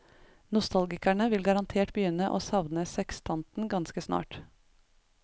Nostalgikerne vil garantert begynne å savne sekstanten ganske snart.